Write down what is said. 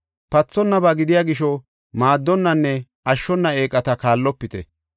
Pathonnaba gidiya gisho maaddonnanne ashshona eeqata kaallopite.